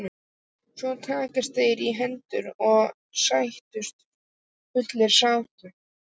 Svo takast þeir í hendur og sættast fullum sáttum.